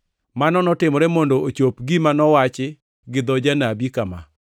Mano notimore mondo ochop gima nowachi gi dho janabi kama: